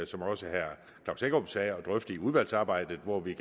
som også herre klaus hækkerup sagde at drøfte i udvalgsarbejdet hvor vi